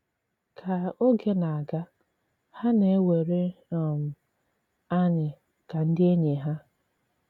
Kà ògè na-àgà, hà na-àwèrè um ànyị̀ ka ndị ènỳí ha.